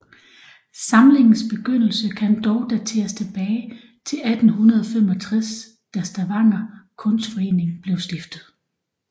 Samlingens begyndelse kan dog dateres tilbage til 1865 da Stavanger kunstforening blev stiftet